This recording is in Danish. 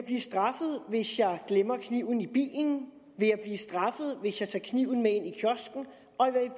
vil jeg glemmer kniven i bilen vil jeg blive straffet hvis jeg tager kniven med ind